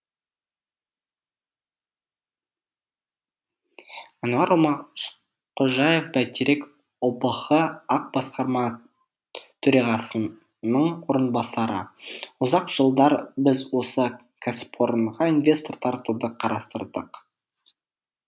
әнуар омарқожаев бәйтерек ұбх ақ басқарма төрағасының орынбасары ұзақ жылдар біз осы кәсіпорынға инвестор тартуды қарастырдық